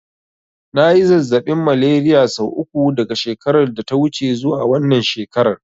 Na yi zazzaɓin Malariya sau uku daga shekarar da ta wuce zuwa wannan shekarar.